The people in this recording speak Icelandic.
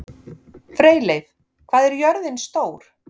Freyleif, hvað er jörðin stór?